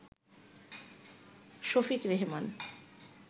Shafiq Rehman